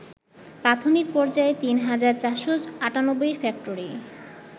প্রাথমিক পর্যায়ে ৩ হাজার ৪৯৮ ফ্যাক্টরি